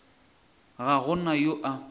ga go na yo a